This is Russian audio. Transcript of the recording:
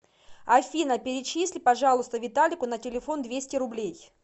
афина перечисли пожалуйста виталику на телефон двести рублей